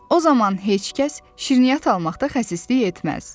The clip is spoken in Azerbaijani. O zaman heç kəs şirniyyat almaqda xəsislik etməz.